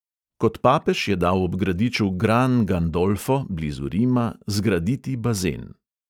Kot papež je dal ob gradiču gran gandolfo blizu rima zgraditi bazen.